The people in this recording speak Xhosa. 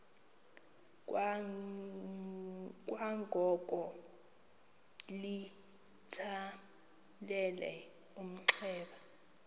kwangoko litsalele umnxeba